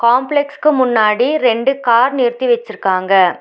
காம்ப்ளக்ஸ்க்கு முன்னாடி ரெண்டு கார் நிறுத்தி வெச்சிருக்காங்க.